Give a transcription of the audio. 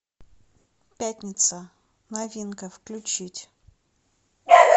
пятница новинка включить